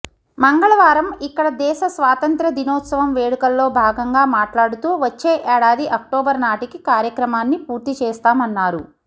మంగళవారం ఇక్కడ దేశ స్వాతంత్య్ర దినోత్సవం వేడుకల్లో భాగంగా మాట్లాడుతూ వచ్చే ఏడాది అక్టోబర్ నాటికి కార్యక్రమాన్ని పూర్తి చేస్తామన్నారు